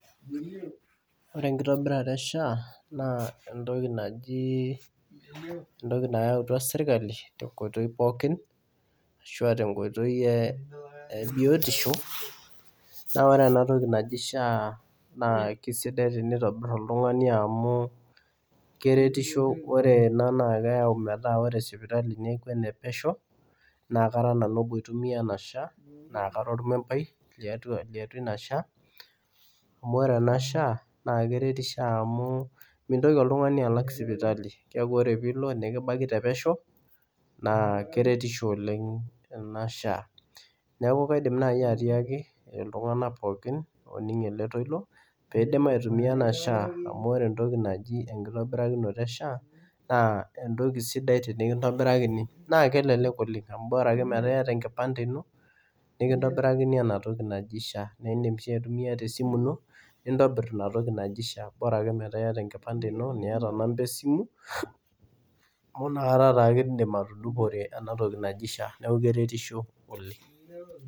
Ore enkitobirata eSHA naa entoki nayautua sirkali tenkoitoi pookin ashu tenkoitoi ebiotisho ,naa ore enatoki naji SHA naa keisidai tenitobiri oltungani amu keretisho ore ena naa keyau sipitali metaa enepesho, Nara nanu obo oitumiya ena shaai naa Kara ormembai ,amu ore ena SHA naa keretisho amu mintoki oltungani alak sipitali keeku ore pee eilo nikibaki pesho naa keretisho oleng ena SHA.neeku kaidim naaji atiaki iltunganak pookin oning ele toilo pee eitobir SHA amu ore enkitobirata ena toki naji SHA naa entoki sidai tenikintobirakini amu Bora ake metaa iyata enkipante ino nikintobirakini ena toki naji SHA naa indim sii aitumiyia esimu ino nitobir ina toki naji SHA, borake metaa iyata enkipante ino niyata namba esimu amu inakata take indim atudungo enatoki naji SHA neeku keretisho oleng.